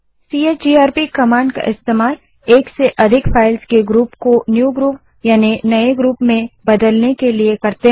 CHGRP command का उपयोग एक से अधिक फाइल्स के ग्रुप को नए ग्रुप में बदलने के लिए करते हैं